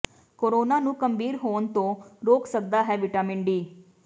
corona ਨੂੰ ਗੰਭੀਰ ਹੋਣ ਤੋਂ ਰੋਕ ਸਕਦਾ ਹੈ ਵਿਟਾਮਿਨ ਡੀ